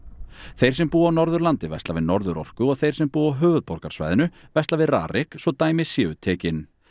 þeir sem búa á Norðurlandi versla við Norðurorku og þeir sem búa á höfuðborgarsvæðinu versla við RARIK svo dæmi séu tekin